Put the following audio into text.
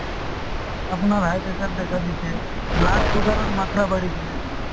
আপোনাৰ high pressure দেখা দিছে , blood sugar ৰ মাত্ৰা বাঢ়িছে